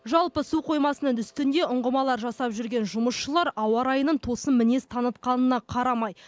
жалпы су қоймасының үстінде ұңғымалар жасап жүрген жұмысшылар ауа райының тосын мінез танытқанына қарамай